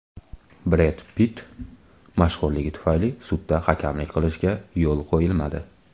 Bred Pitt mashhurligi tufayli sudda hakamlik qilishiga yo‘l qo‘yilmadi.